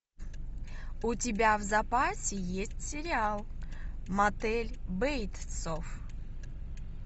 у тебя в запасе есть сериал мотель бейтсов